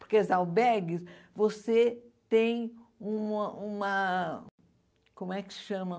Porque as albergues, você tem uma uma... Como é que se chama?